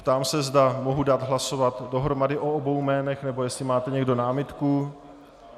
Ptám se, zda mohu dát hlasovat dohromady o obou jménech, nebo jestli máte někdo námitku.